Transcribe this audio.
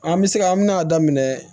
An bɛ se ka an bɛna daminɛ